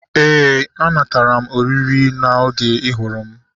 Éè, a natara m oriri oge ị hụrụ m